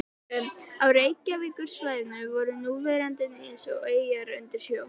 Á Reykjavíkursvæðinu voru núverandi nes og eyjar undir sjó.